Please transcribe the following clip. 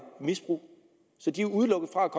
misbrug så de er udelukket fra at